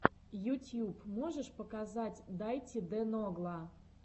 ютьюб можешь показать дайти де ногла